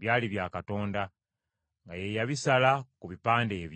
byali bya Katonda, nga ye yabisala ku bipande ebyo.